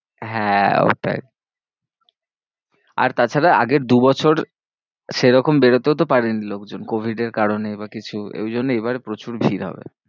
হ্যাঁ, ওটাই আর তাছাড়া আগের দু বছর সেরকম বেরোতেও তো পারেনি লোকজন covid এর কারণে বা কিছু, ঐজন্যে এইবারে প্রচুর ভিড় হবে।